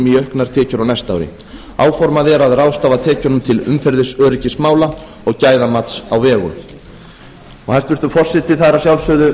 í auknar tekjur á næsta ári áformað er að ráðstafa tekjunum til umferðaröryggismála og gæðamats á vegum hæstvirtur forseti það eru að sjálfsögðu